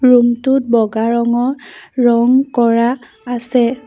Room টোত বগা ৰঙৰ ৰং কৰা আছে।